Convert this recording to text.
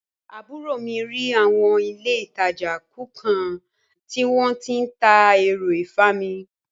Àbúrò mi rí awọn ilé ìtàjà kọ̀ọ̀kan tí wón tí ń ta ẹ̀rọ ìfami.